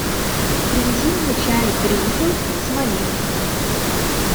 привези мне чай гринфилд с малиной